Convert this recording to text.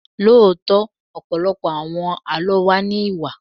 Lóòótọ́, ọ̀pọ̀lọpọ̀ àwọn Àlọ́ wa ní Ìwà.